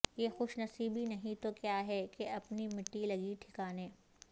یہ خوش نصیبی نہیں تو کیا ہے کہ اپنی مٹی لگی ٹھکانے